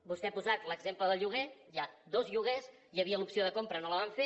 vostè ha posat l’exemple del lloguer hi ha dos lloguers hi havia l’opció de compra i no la van fer